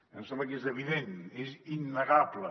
em sembla que és evident és innegable